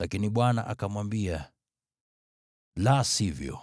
Lakini Bwana akamwambia, “La sivyo,